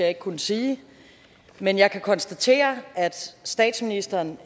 ikke kunne sige men jeg kan konstatere at statsministeren